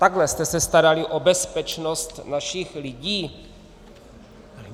Takhle jste se starali o bezpečnost našich lidí?